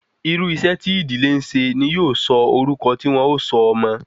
Irú iṣẹ́ tí ìdílé ńse ni yóò sọ orúkọ ti won o sọ ọmọ